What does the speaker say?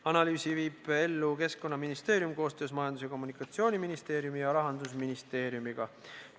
Analüüsi viib ellu Keskkonnaministeerium koostöös Majandus- ja Kommunikatsiooniministeeriumi ja Rahandusministeeriumiga.